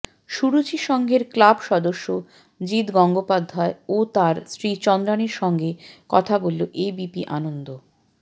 সুরুচি সঙ্ঘের ক্লাব সদস্য জিৎ গঙ্গোপাধ্যায় ও তাঁর স্ত্রী চন্দ্রাণীর সঙ্গে কথা বলল এবিপি আনন্দ